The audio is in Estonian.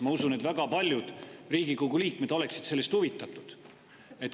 Ma usun, et väga paljud Riigikogu liikmed oleksid sellest huvitatud.